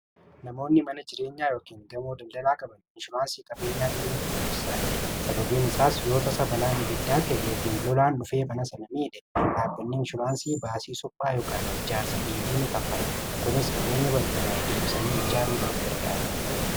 namoonni mana jireenyaa yookin damoo daldalaa qabanni inshuraansii qabeenyaa banuun barbaachisaadha sababiin isaas yoo tasa balaan ibiddaa ka'e yookin lolaan dhufee manasana miidhe dhaabbanni inshuraansi baasii suphaa ykn ijaarsa deebii ni kanfala kunis qabeenya barbadaa'i deebsanii ijaaruudhaaf gargaara